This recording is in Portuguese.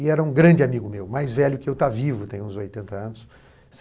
E era um grande amigo meu, mais velho que eu, está vivo, tem uns oitenta anos